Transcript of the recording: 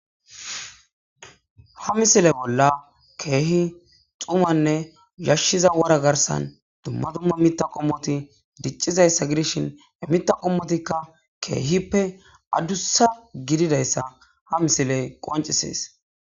Ha misile bolla keehi xumanne yashshiza wara garsan dumma dumma mita qommoti diccizayssa gidishin mita qommotikka keehippe addussa gididayssa ha misiley qoncisees.